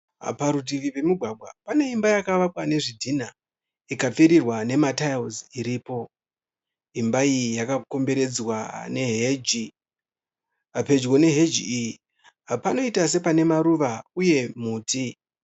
Parutivi pemugwagwa pane imba yakavakwa nezvidhinha ikapfirirwa nematayiwusi iripo. Imba iyi yakakomberedzwa neheji. Pedyo neheji iyi panoita sepanemaruva uye muti.